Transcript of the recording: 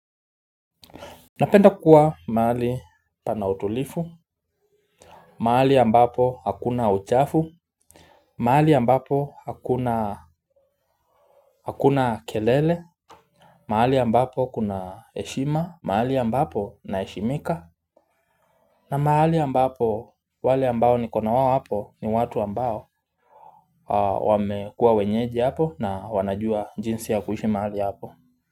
Napenda kuwa mahali pana utulivu, mahali ambapo hakuna uchafu, mahali ambapo hakuna hakuna kelele, mahali ambapo kuna heshima, mahali ambapo naheshimika. Na mahali ambapo wale ambao nikonawao hapo ni watu ambao wamekua wenyeji hapo na wanajua jinsi ya kuishi mahali hapo.